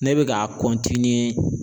Ne bɛ ka